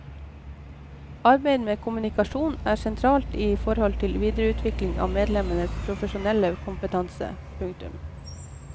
Arbeid med kommunikasjon er sentralt i forhold til videreutvikling av medlemmenes profesjonelle kompetanse. punktum